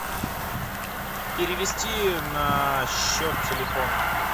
перевести на счет телефона